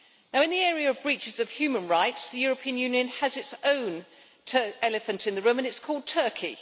In the area of breaches of human rights, the European Union has its own elephant in the room and it is called Turkey.